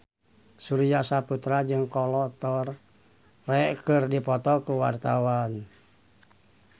Surya Saputra jeung Kolo Taure keur dipoto ku wartawan